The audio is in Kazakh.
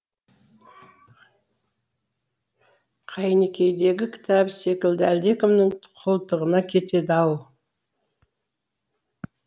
қайнекейдегі кітабы секілді әлдекімнің қолтығында кетеді ау